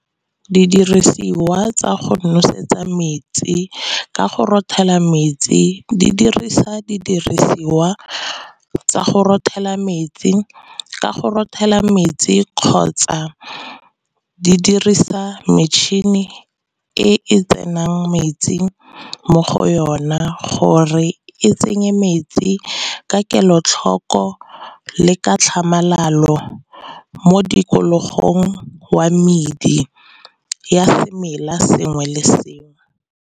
Didirisiwa tsa go nosetsa metsi ka go rothela metsi di dirisa didiriswa tsa go rothela metsi. Ka go rothela metsi kgotsa di dirisa metšhini e e tsenang metsing mo go yona gore e tsenye metsi ka kelotlhoko, le ka tlhamalalo mo tikologong wa medi ya semela sengwe le sengwe.